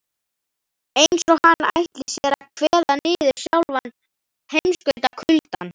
Eins og hann ætli sér að kveða niður sjálfan heimskautakuldann.